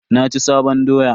Na ci sabon doya.